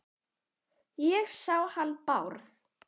Ég sá hann Bárð.